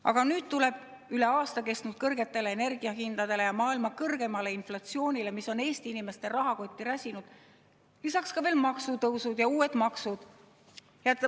Aga nüüd tulevad üle aasta kestnud kõrgetele energiahindadele ja maailma kõrgeimale inflatsioonile, mis on Eesti inimeste rahakotti räsinud, lisaks veel maksutõusud ja uued maksud.